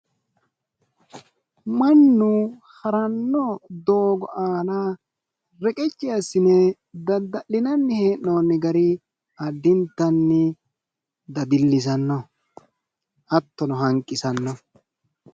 Mannu haranno doggo aana reqecci assine dadda'linanni hee'noonni gari addintanni dadillisanno. hattono hanqisanno.